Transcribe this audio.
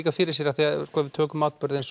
fyrir sér af því að ef við tökum atburðinn